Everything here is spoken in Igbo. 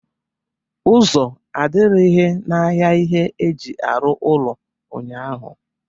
Ụzọ adịrịghị n'ahịa ihe eji arụ ụlọ ụnyaahụ.